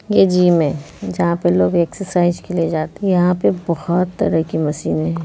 ये जिम है जहाँ पे लोग के लिए जाते हैं यहाँ पे बहुत तरह की मशीने है।